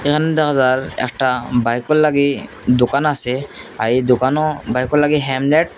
এখান দেখা যার একটা বাইকো লাগি দোকান আসে আর এই দোকানো বাইকো লাগি হ্যামলেট --